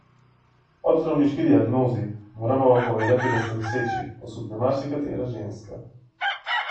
Ob zdravniški diagnozi: 'Moramo vam povedati, da ste noseči,' osupne marsikatera ženska.